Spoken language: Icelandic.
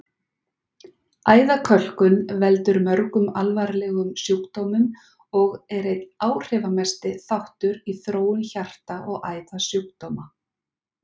Æðakölkun veldur mörgum alvarlegum sjúkdómum og er einn áhrifamesti þáttur í þróun hjarta- og æðasjúkdóma.